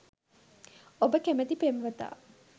ඔබ කැමැති පෙම්වතා